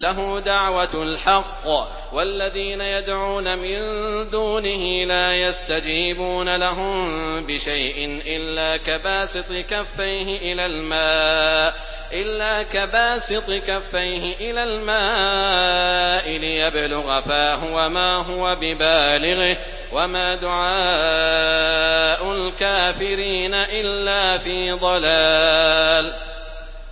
لَهُ دَعْوَةُ الْحَقِّ ۖ وَالَّذِينَ يَدْعُونَ مِن دُونِهِ لَا يَسْتَجِيبُونَ لَهُم بِشَيْءٍ إِلَّا كَبَاسِطِ كَفَّيْهِ إِلَى الْمَاءِ لِيَبْلُغَ فَاهُ وَمَا هُوَ بِبَالِغِهِ ۚ وَمَا دُعَاءُ الْكَافِرِينَ إِلَّا فِي ضَلَالٍ